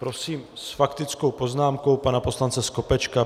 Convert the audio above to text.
Prosím s faktickou poznámkou pana poslance Skopečka.